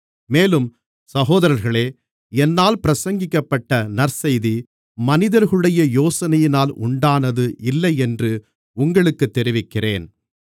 மேலும் சகோதரர்களே என்னால் பிரசங்கிக்கப்பட்ட நற்செய்தி மனிதர்களுடைய யோசனையினால் உண்டானது இல்லையென்று உங்களுக்குத் தெரிவிக்கிறேன்